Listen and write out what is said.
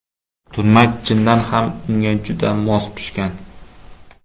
Turmak chindan ham unga juda mos tushgan.